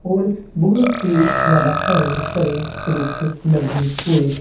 ਹੋਰ ਬਹੁਤ ਹੀ ਜਿਆਦਾ ਹਰੇ ਭਰੇ ਰੁੱਖ ਲੱਗੇ ਹੋਏ--